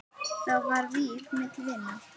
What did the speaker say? Þá var vík milli vina.